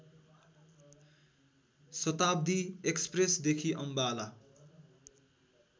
शताब्‍दी एक्‍सप्रेसदेखि अम्बाला